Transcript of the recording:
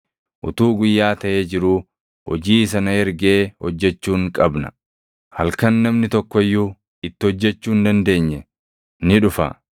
Utuu guyyaa taʼee jiruu hojii isa na ergee hojjechuun qabna. Halkan namni tokko iyyuu itti hojjechuu hin dandeenye ni dhufa.